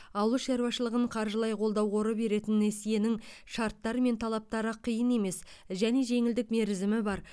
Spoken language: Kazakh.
ауыл шаруашылығын қаржылай қолдау қоры беретін несиенің шарттары мен талаптары қиын емес және жеңілдік мерзімі бар